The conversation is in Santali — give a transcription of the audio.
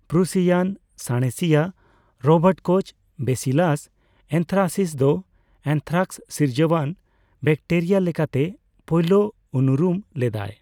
ᱯᱨᱩᱥᱤᱭᱟᱱ ᱥᱟᱬᱮᱥᱤᱭᱟᱹ ᱨᱚᱵᱟᱨᱴ ᱠᱳᱪ ᱵᱮᱥᱤᱞᱟᱥ ᱮᱱᱛᱷᱨᱟᱥᱤᱥ ᱫᱚ ᱮᱱᱛᱷᱨᱟᱠᱥ ᱥᱤᱨᱡᱟᱣᱟᱱ ᱵᱮᱠᱴᱮᱨᱤᱭᱟ ᱞᱮᱠᱟᱛᱮ ᱯᱳᱭᱞᱳ ᱩᱱᱩᱨᱩᱢ ᱞᱮᱫᱟᱭ ᱾